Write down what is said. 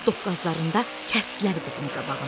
Doqqazlarında kəsdilər qızın qabağına.